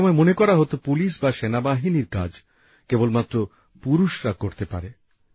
একসময় মনে করা হত পুলিশ বা সেনাবাহিনীর কাজ কেবলমাত্র পুরুষরা করতে পারে